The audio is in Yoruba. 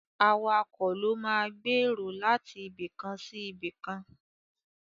Awakọ̀ ló máa gbé èrò láti ibikàn sí ibìkan.